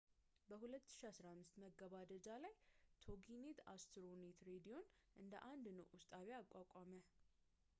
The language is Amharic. በ 2015 መገባደጃ ላይ ቶጊኔት አስትሮኔት ሬዲዮን እንደ አንድ ንዑስ ጣቢያ አቋቋመ